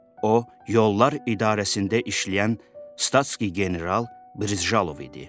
O Yollar İdarəsində işləyən Statski General Brijalov idi.